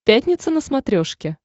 пятница на смотрешке